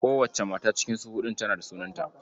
Kowace mata cikin su huɗun tana da sunanta.